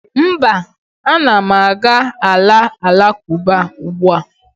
mba, a na m aga ala alakụba ugbua